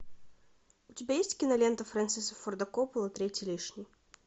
у тебя есть кинолента фрэнсиса форда копполы третий лишний